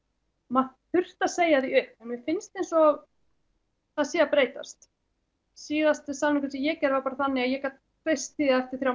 maður þurfti að segja því upp en mér finnst eins og það sé að breytast síðasti samningur sem ég gerði var bara þannig að ég gat treyst því að eftir þrjá